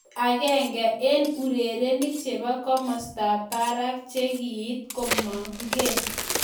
Ki agenge en urerenik chebo komostab barak che kiit komongee